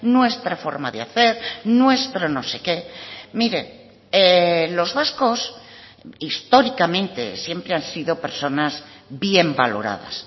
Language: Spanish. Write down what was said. nuestra forma de hacer nuestro no sé qué mire los vascos históricamente siempre han sido personas bien valoradas